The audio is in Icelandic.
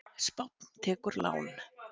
Spánn tekur lán